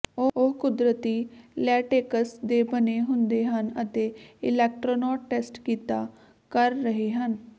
ਉਹ ਕੁਦਰਤੀ ਲੈਟੇਕਸ ਦੇ ਬਣੇ ਹੁੰਦੇ ਹਨ ਅਤੇ ਇਲੈਕਟ੍ਰੋਨਿਕ ਟੈਸਟ ਕੀਤਾ ਕਰ ਰਹੇ ਹਨ